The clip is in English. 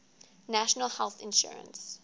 national health insurance